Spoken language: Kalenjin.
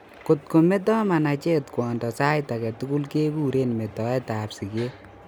Kotko meto manacheet kwondo saaitugul kekuren metoet ab sikeet